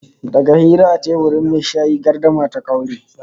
Daga hira a teburin mai shayi gardama ta kaure